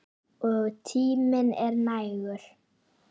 Og tíminn er nægur.